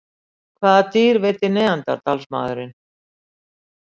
Hvaða dýr veiddi neanderdalsmaðurinn?